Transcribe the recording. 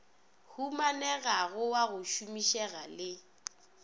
humanegago wa go šomišega le